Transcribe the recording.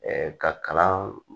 ka kalan